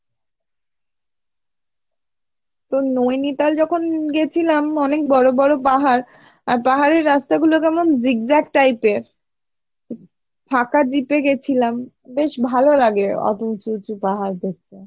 তো নৈনিতাল যখন গেছিলাম অনেক বড়ো বড়ো পাহাড় আর পাহাড়ি রাস্তা গুলো কেমন zigzag type এর ফাঁকা jeep এ গেছিলাম বেশ ভালো লাগে অটো উঁচু উঁচু পাহাড় দেখতে।